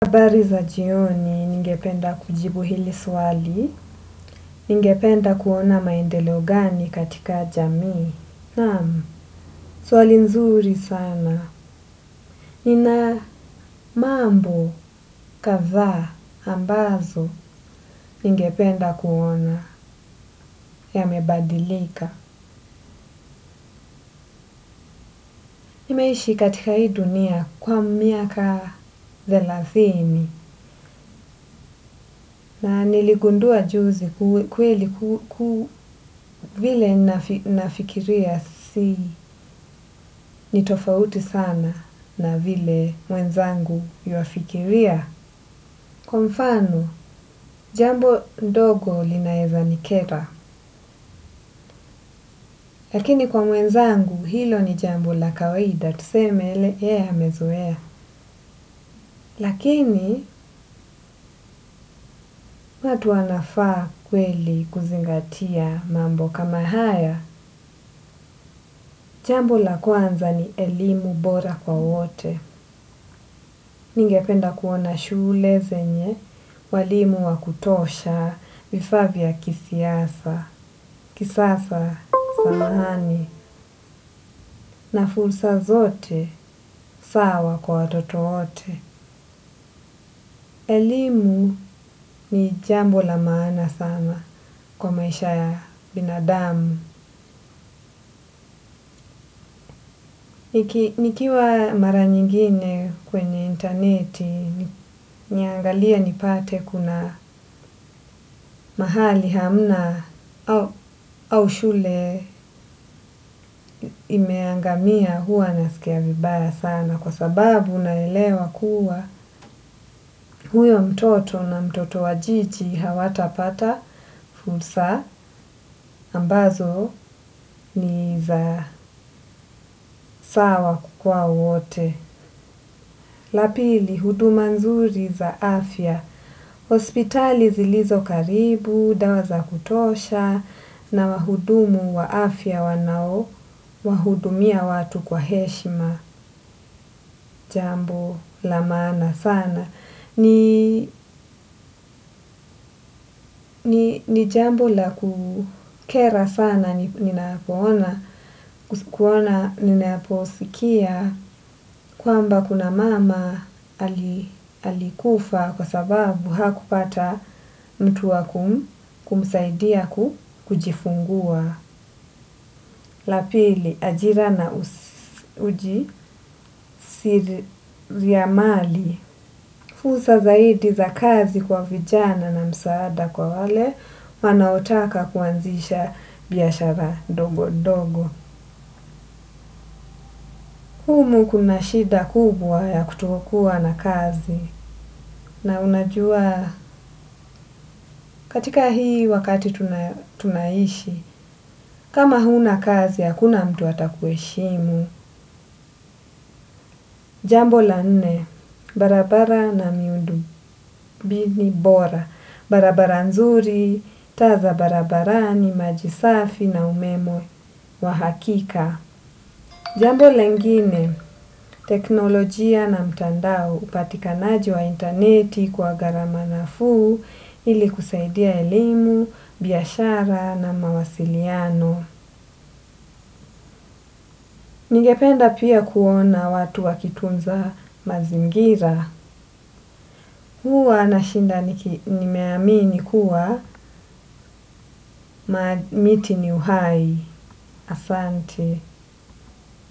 Habari za jioni ningependa kujibu hili swali, ningependa kuona maendeleo gani katika jamii, naam, swali nzuri sana. Nina mambo, kadha, ambazo ningependa kuona yamebadilika. Nimeishi katika hii dunia kwa miaka thelathini na niligundua juzi kweli kuvile nafikiria si nitofauti sana na vile mwenzangu yuafikiria. Kwa mfano, jambo ndogo linaweza nikera, lakini kwa mwenzangu hilo ni jambo la kawaida tuseme ye amezoea. Lakini, watu wanafaa kweli kuzingatia mambo kama haya, jambo la kwanza ni elimu bora kwa wote. Ningependa kuona shule zenye, walimu wakutosha, vifaa vya kisiasa, kisasa, samahani, na fursa zote, sawa kwa watoto wote. Elimu ni jambo la maana sana kwa maisha ya binadamu. Nikiwa mara nyingine kwenye interneti niangalie nipate kuna mahali hamna au shule imeangamia huwa nasikia vibaya sana kwa sababu naelewa kuwa huyo mtoto na mtoto wajiji hawata pata fursa ambazo ni za sawa kwa wote. La pili huduma nzuri za afya. Hospitali zilizo karibu, dawa za kutosha na wahudumu wa afya wanao. Wahudumia watu kwa heshima jambo la maana sana. Ni jambo la kukera sana ninapo ona kuona ninaposikia kwamba kuna mama alikufa kwa sababu hakupata mtu wakum kumsaidia kujifungua. La pili ajira na uji siri viamali. Fursa zaidi za kazi kwa vijana na msaada kwa wale wanaotaka kuanzisha biashara ndogo ndogo. Humu kuna shida kubwa ya kutokuwa na kazi. Na unajua katika hii wakati tunaishi. Kama huna kazi hakuna mtu atakuheshimu. Jambo la nne, barabara na miundo bithi bora, barabara nzuri, taa za barabarani maji safi na umeme wa hakika. Jambo lengine, teknolojia na mtandao upatikanaji wa interneti kwa gharama nafuu ili kusaidia elimu, biashara na mawasiliano. Nigependa pia kuona watu wakitunza mazingira. Huwa na shinda nimeamini kuwa, miti ni uhai, asante.